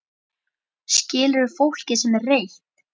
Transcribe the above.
Skilurðu fólkið sem er reitt?